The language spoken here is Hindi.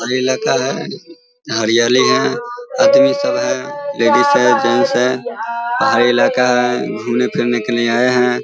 और यह लड़का है और यह है आदमी सब है। लेडीज है जेंट्स है पहाड़ी इलाका है घूमने-फिरने के लिए आए हैं।